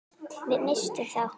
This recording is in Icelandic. Við misstum þá.